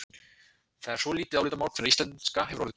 Það er svo álitamál hvenær íslenska hafi orðið til.